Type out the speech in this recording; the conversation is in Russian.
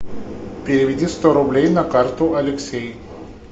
переведи сто рублей на карту алексей